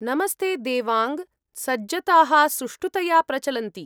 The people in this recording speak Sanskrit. नमस्ते देवाङ्ग! सज्जताः सुष्ठुतया प्रचलन्ति।